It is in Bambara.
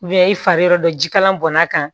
i fari yɔrɔ dɔ jikalan bɔnn'a kan